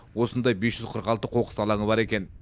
осындай бес жүз қырық алты қоқыс алаңы бар екен